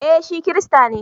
Eh shi Kirista ne